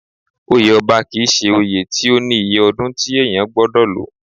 Oyè ọba kì í ṣe oyè tí ó ní iye ọdún tí èèyàn gbọdọ̀ lò